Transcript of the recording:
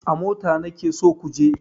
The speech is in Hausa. A mota nake so ku je!